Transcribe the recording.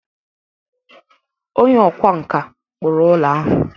Onye ọkwá nkà kpụrụ ụlọ ahụ.